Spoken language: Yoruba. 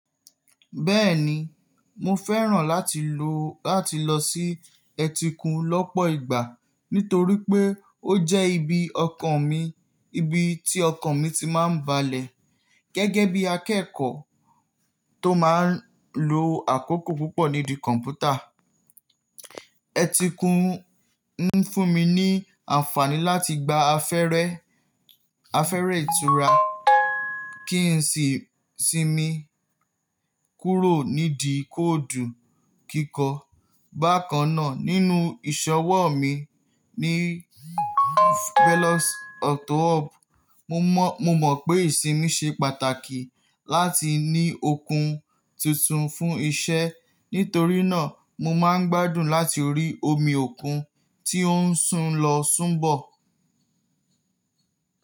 Bẹ́ẹ̀ni, mo fẹ́ràn láti lo, lọ sí ẹtíkun lọ́pọ̀ ìgbà nítorí pé ó jẹ́ ibi ọkan mi, ibi tí ọkàn mi ti máa ń balẹ̀. Gẹ́gẹ́ bí akẹ́kọ̀ọ́ tó máa ń lo àkókò púpọ̀ nídi kọ̀mpútà, ẹtíkun ń fún mi ní àǹfààní láti gba afẹrẹ afẹ́rẹ ìtura kí n sì sinmi kúrò nídi kóòdù kíkọ. Bákan náà, nínú ìṣọwọ́ mi ní Fellows Auto Hub, mo mọ̀ pé ìsinmi ṣe pàtàkì láti ní okun titun fún iṣẹ́. Nítorí náà mo máa ń gbádùn láti rí omi òkun tí ó ń sún lọ sún bọ̀.